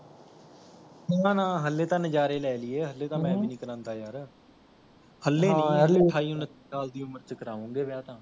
ਨਾ ਨਾ ਹਲੇ ਤਾਂ ਨਜਾਰੇ ਲੈ ਲਈਏ ਹਲੇ ਤਾਂ ਮੈਂ ਵੀ ਨੀ ਕਰਾੰਦਾ ਯਾਰ ਹਲੇ ਨੀ ਹਲੇ ਅਠਾਈ ਉੱਨਤੀ ਸਾਲ ਦੀ ਉਮਰ ਚ ਕਰਾਉਗੇ ਵਿਆਹ ਤਾਂ